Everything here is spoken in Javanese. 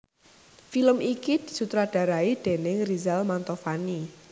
Film iki disutradharai déning Rizal Mantovani